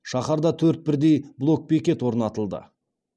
шаһарда төрт бірдей блок бекет орнатылды